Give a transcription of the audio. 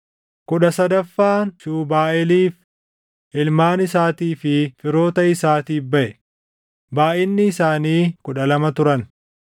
kudha sadaffaan Shuubaaʼeeliif, // ilmaan isaatii fi firoota isaatiif baʼe; // baayʼinni isaanii kudha lama turan